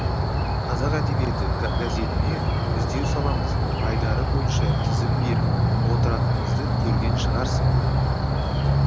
қазақ әдебиеті газетіне іздеу саламыз айдары бойынша тізім беріп отыратынымызды көрген шығарсың